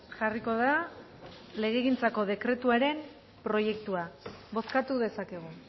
jarriko da legegintzako dekretuaren proiektua bozkatu dezakegu